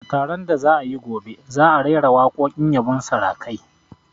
A taron da za'a yi gobe, za'a raira waƙoƙin yabon sarakai